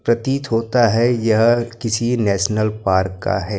प्रतीत होता है यह किसी नेशनल पार्क का है।